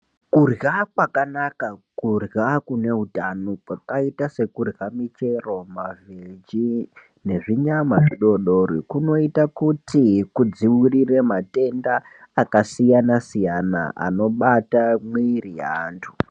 Kurya kwakanaka, kurya kune utano kwakaita sekurya michero, mavheji nezvinyama zvidodori kunoita kuti kudzivirire matenda akasiyana-siyana anobata mwiri yeantu.